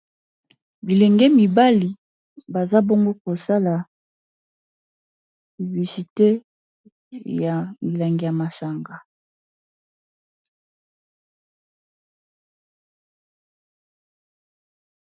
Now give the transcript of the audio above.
bilenge mibali baza bongo kosala ivisite ya bilangi ya masanga